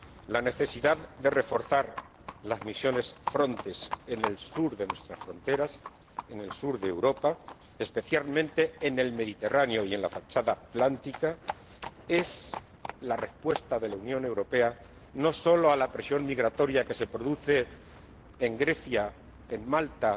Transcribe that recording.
La necesidad de reforzar las misiones Frontex en el sur de nuestras fronteras, en el sur de Europa, especialmente en el Mediterráneo y en la fachada Atlántica, no sólo es la respuesta de la Unión Europea a la presión migratoria que se produce en Grecia, en Malta,